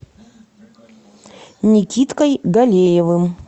никиткой галеевым